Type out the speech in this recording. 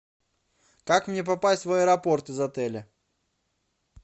как мне попасть в аэропорт из отеля